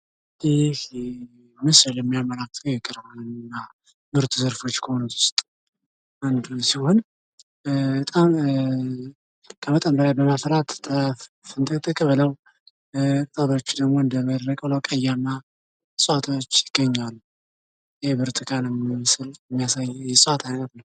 ይህ ምስል የሚያመለክተው ከእጽዋት ዘርፎች ከሆኑት ውስጥ አንዱን ሲሆን በጣም ከመጠን በላይ በማፍራት ስንጥቅጥቅ ብለው እጽዋቶች ይገኛሉ። የብርቱካንን ምስል የሚያሳይ የእጽዋት አይነት ነው።